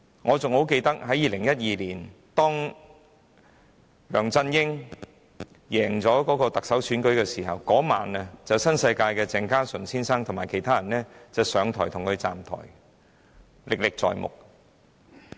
我十分記得，梁振英在2012年勝出行政長官選舉時，當晚新世界的鄭家純先生和其他人便為他"站台"，現在還歷歷在目。